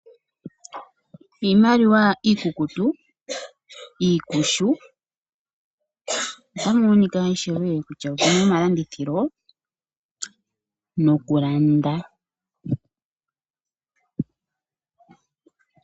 Iimaliwa iikukutu ikushu ota mu monika ishewe kutya omu na omalandithilo nokulanda.